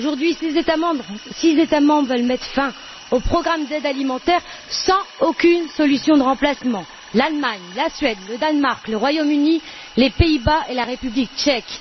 Aujourd'hui, six États membres veulent mettre fin au programme d'aide alimentaire sans aucune solution de remplacement l'Allemagne, la Suède, le Danemark, le Royaume Uni, les Pays Bas et la République tchèque.